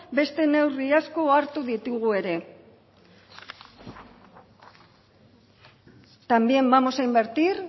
besten neurri asko hartu ditugu ere también vamos a invertir